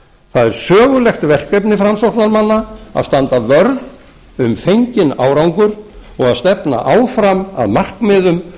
það er sögulegt verkefni framsóknarmanna að standa vörð um fenginn árangur og að stefna áfram að markmiðum um